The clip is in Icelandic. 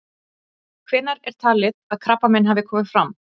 Hvenær er talið að krabbamein hafi komið fram?